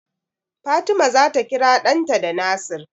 Fatima zata kira ɗanta da Nasir.